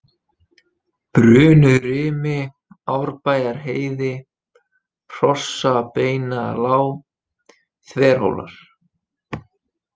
Brunurimi, Árbæjarheiði, Hrossabeinalág, Þverhólar